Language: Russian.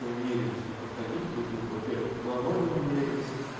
и мирились мы подходили друг другу во-первых ладонями мерились